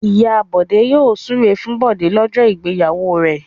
Ìyá Bọ̀dé yóò súre fún Bọ̀dé lọ́jọ́ ìgbéyàwó rẹ̀.